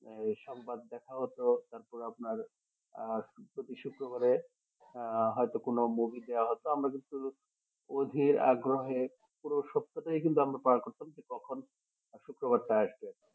এই সংবাদ দেখা হতো তারপর আপনার আহ প্রতি শুক্রবারে আহ হয়তো কোনো movie দেওয়া হতো আমরা কিন্তু অধীর আগ্রহে পুরো সপ্তাহ টাই আমরা কিন্তু পার করতাম যে কখন শুক্রবারটা আসবে